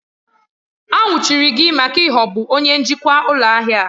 A nwụchiri gị maka ịghọgbu onye njikwa ụlọ ahịa!